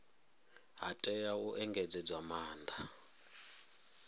ha tea u engedzedzwa maanda